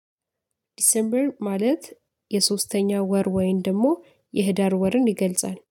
ዲሴምበር ማለት የሶስተኛ ወር ወይም ደግሞ የህዳር ወርን ይገልጻል